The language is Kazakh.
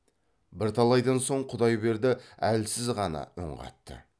бірталайдан соң құдайберді әлсіз ғана үн қатты